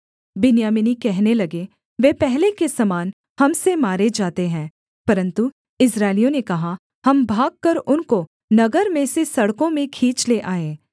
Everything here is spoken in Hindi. बिन्यामीनी कहने लगे वे पहले के समान हम से मारे जाते हैं परन्तु इस्राएलियों ने कहा हम भागकर उनको नगर में से सड़कों में खींच ले आएँ